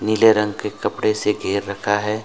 नीले रंग के कपड़े से घेर रखा है।